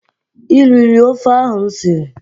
I riri ofe ahụ m siri?